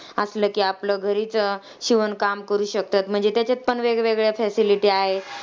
असलं की आपलं घरीच शिवणकाम करू शकतात. म्हणजे त्याच्यात पण वेगवेगळ्या facility आहे.